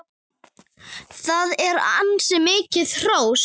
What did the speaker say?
Það er ansi mikið hrós!